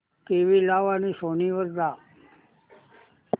TV लाव आणि Sony वर जा